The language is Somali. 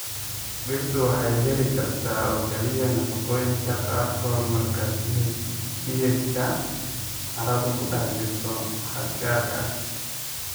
Dhirtu waxay heli kartaa oo keliya nafaqooyinka qaarkood marka pH-ga carradu ku dhex jirto xad gaar ah.